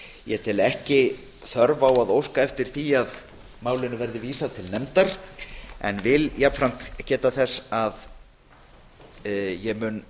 ég tel ekki þörf á að óska eftir því að málinu verði vísað til nefndar en vil jafnframt geta þess að ég mun